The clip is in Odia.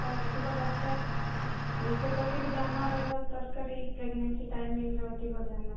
ଅଧିକ ଦରକାର ନିଜ ପ୍ରତି ବି ଧ୍ୟାନ ରହିବା ଦରକାର ଏଇ pregnancy timing ରେ ଅଧିକ ଧ୍ୟାନ